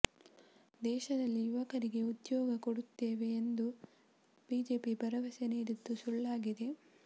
ದೇಶದಲ್ಲಿ ಯುವಕರಿಗೆ ಉದ್ಯೋಗ ಕೊಡುತ್ತೇವೆ ಎಂದು ಬಿಜೆಪಿ ಭರವಸೆ ನೀಡಿದ್ದು ಸುಳ್ಳಾಗಿದೆ